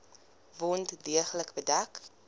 wond deeglik bedek